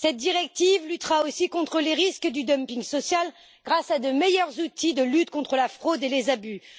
Cette directive luttera aussi contre les risques du dumping social, grâce à de meilleurs outils de lutte contre la fraude et les abus.